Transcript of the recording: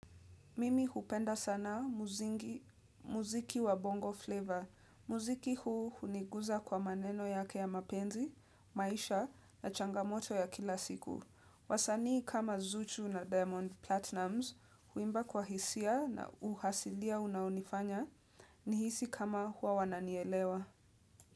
Mimi hupenda sana muzingi muziki wa bongo flavor. Muziki huu huniguza kwa maneno yake ya mapenzi, maisha na changamoto ya kila siku. Wasanii kama zuchu na diamond platinums, huimba kwa hisia na uhasilia unaonifanya nihisi kama huwa wananielewa.